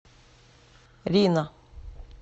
рино